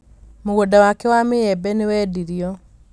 mũgũnda wake wa mĩembe nĩ wendirio